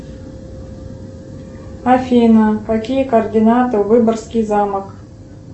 афина какие координаты выборгский замок